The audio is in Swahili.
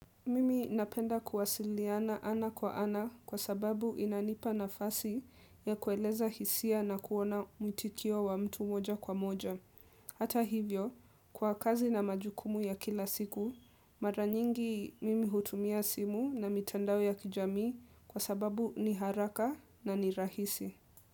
Mimi napenda kuwasiliana ana kwa ana kwa sababu inanipa nafasi ya kueleza hisia na kuona muitikio wa mtu moja kwa moja. Hata hivyo, kwa kazi na majukumu ya kila siku, mara nyingi mimi hutumia simu na mitandao ya kijamii kwa sababu ni haraka na ni rahisi.